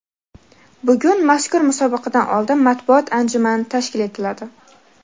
Bugun mazkur musobaqadan oldin matbuot anjumani tashkil etiladi.